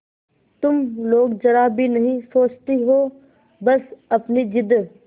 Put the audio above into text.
तुम लोग जरा भी नहीं सोचती हो बस अपनी जिद